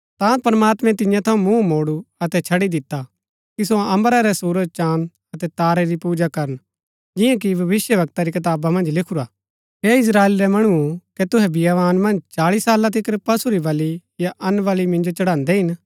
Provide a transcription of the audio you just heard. ता प्रमात्मैं तियां थऊँ मूँह मोडु अतै छड़ी दिता कि सो अम्बरा रै सुरज चाँद अतै तारै री पूजा करन जिंआं कि भविष्‍यवक्ता री कताबा मन्ज लिखुरा हे इस्त्राएल रै मणुओ कै तुहै बियावान मन्ज चाळी साला तिकर पशु री बलि या अन्नबलि मिन्जो चढ़ान्दै हिन